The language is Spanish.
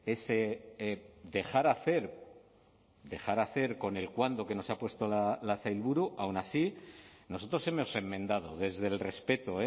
ese dejar hacer dejar hacer con el cuándo que nos ha puesto la sailburu aun así nosotros hemos enmendado desde el respeto